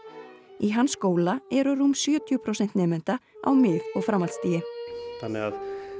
í hans skóla eru rúm sjötíu prósent nemenda á mið og framhaldsstigi þannig að